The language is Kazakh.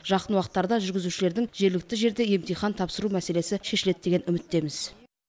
жақын уақытта жүргізушілердің жергілікті жерде емтихан тапсыру мәселесі шешіледі деген үміттеміз